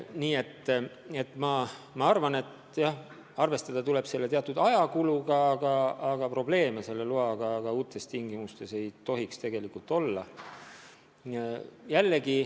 Nii et ma arvan, et arvestada tuleb tõesti teatud ajakuluga, aga probleeme selle loaga ka uutes tingimustes ei tohiks tegelikult olla.